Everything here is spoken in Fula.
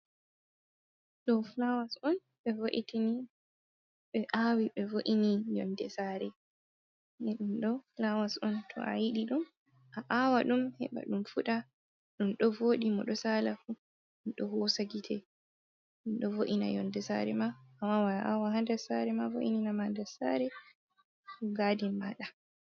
Ɗo fulawas on ɓe wo'itini, ɓe aawi ɓe wo'ini yonde saare. Ɗum ɗo fulawas on, to a yiɗi ɗum, a aawa ɗum heba ɗum fuɗa. Ɗum ɗo voɗi, mo ɗo saala fuu, ɗum ɗo hoosa gite. Ɗum ɗo vo’ina yonde saare ma. a wawan a aawa ha nder saare ma, vo’ininama nder saare, ko kuma gadin maaɗa.